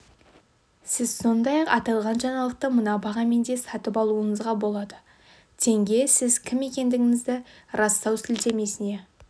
сіз сондай-ақ аталған жаңалықты мына бағамен де сатып алуыңызға болады тенге сіз кім екендігіңізді растау сілтемесіне